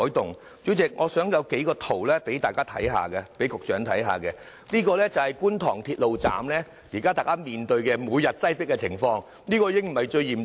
代理主席，我想局長看看這幾幅圖，這是現時觀塘鐵路站每天面對的擠迫情況，這已不算最嚴重了。